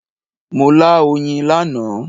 Mo lá oyin lánàá.